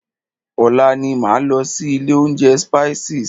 Ọ̀la ni máa lọ sí ilé oúnjẹ Spices.